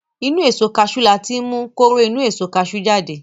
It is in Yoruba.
Inú Èso kaṣú láti mú kóró inú èso kaṣú jáde